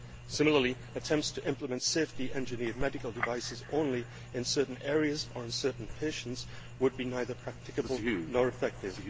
Similarly, attempts to implement safety engineered medical devices only in certain areas or on certain patients would be neither practical nor effective.